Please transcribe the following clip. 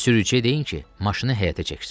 Sürücüyə deyin ki, maşını həyətə çəksin.